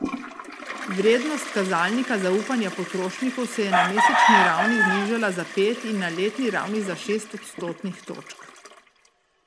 Vrednost kazalnika zaupanja potrošnikov se je na mesečni ravni znižala za pet in na letni ravni za šest odstotnih točk.